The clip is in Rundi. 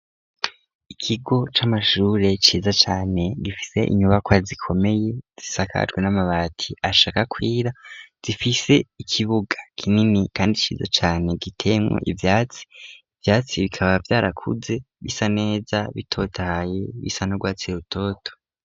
Ikigo c'amashure ciza cane gifise inyubakwa zikomeye, zisakajwe n'amabati ashaka kwira, zifise ikibuga kinini kandi ciza cane giteyemwo ivyatsi, ivyatsi bikaba vyarakuze bisa neza bitotaye, bisa n'urwatsi rutoto.